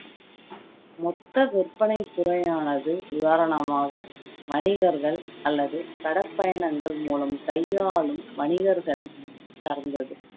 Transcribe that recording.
மொத்த விற்பனை துறையானது நிவாரணமாக வணிகர்கள் அல்லது கடற்பயணங்கள் மூலம் கையாலும் வணிகர்களை சார்ந்தது